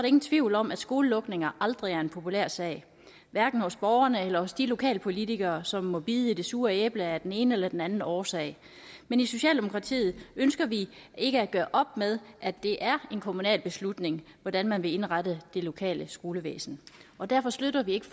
ingen tvivl om at skolelukninger aldrig er en populær sag hverken hos borgerne eller hos de lokalpolitikere som må bide i det sure æble af den ene eller den anden årsag men i socialdemokratiet ønsker vi ikke at gøre op med at det er en kommunal beslutning hvordan man vil indrette det lokale skolevæsen og derfor støtter vi ikke